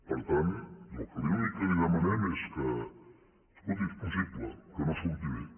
per tant l’únic que li demanem és que escolti és possible que no surti bé